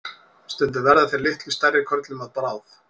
stundum verða þeir litlu stærri körlum að bráð